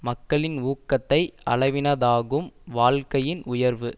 மக்களின் ஊக்கத்தை அளவினதாகும் வாழ்க்கையின் உயர்வு